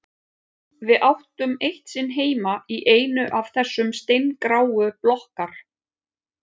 Við áttum eitt sinn heima í einu af þessum steingráu blokkar